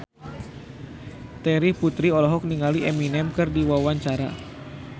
Terry Putri olohok ningali Eminem keur diwawancara